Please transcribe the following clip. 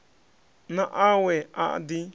na a we a ḓi